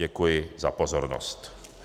Děkuji za pozornost.